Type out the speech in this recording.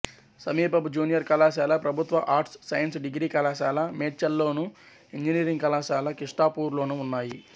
సమీప జూనియర్ కళాశాల ప్రభుత్వ ఆర్ట్స్ సైన్స్ డిగ్రీ కళాశాల మేడ్చల్లోను ఇంజనీరింగ్ కళాశాల కిష్టాపూర్లోనూ ఉన్నాయి